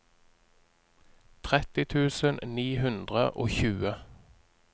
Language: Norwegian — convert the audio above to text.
tretti tusen ni hundre og tjue